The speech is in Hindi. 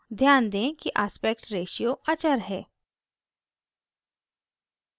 ध्यान दें कि aspect ratio अचर है